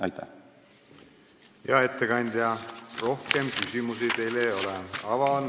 Hea ettekandja, rohkem küsimusi teile ei ole.